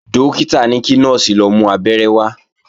Dókítà ní kí Nọ́ọ̀sì lọ mú Abẹ́rẹ́ wá